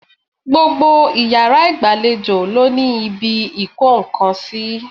Gbogbo iyàrá ìgbàlejò ló ní ibi ìkó nkan sí